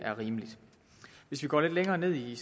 er rimelig hvis vi går lidt længere ned i